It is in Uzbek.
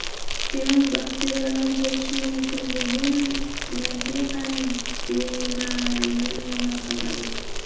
Demak, bakteriyalar bo‘lishi mumkinligi – mantiqan bama’ni mulohazadir.